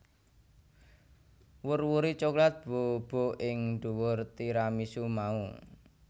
Wur wuri coklat bubuk ing dhuwur tiramisu mau